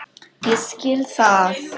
Ég skil það!